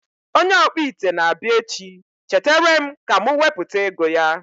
Onye ọkpụ ite na abịa echi, cheteerem ka mụ wepụta ego ya